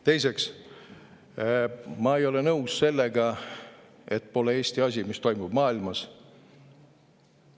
Teiseks, ma ei ole nõus sellega, et pole Eesti asi, mis toimub maailmas.